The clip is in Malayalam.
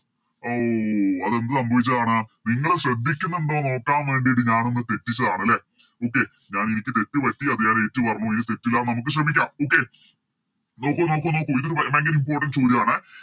ഓ അത് എന്ത് സംഭവിച്ചതാണ് നിങ്ങള് ശ്രദ്ധിക്കുന്നുണ്ടോ നോക്കാൻ വേണ്ടിയിട്ട് ഞാനൊന്ന് തെറ്റിച്ചതാണ് ലെ Okay ഞാന് എനിക്ക് തെറ്റ് പറ്റി അത് ഞാനേറ്റു പറഞ്ഞു ഇനി തെറ്റില്ല നമുക്ക് ശ്രമിക്കാം Okay നോക്കു നോക്കു നോക്കു ഇതൊരു ഭയങ്കര Importance കൂടിയാണ്